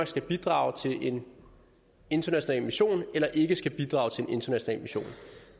skal bidrage til en international mission eller ikke skal bidrage til en international mission